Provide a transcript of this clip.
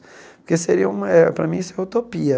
Porque seria uma para mim isso é utopia.